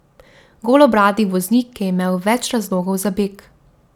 Golobradi voznik je imel več razlogov za beg.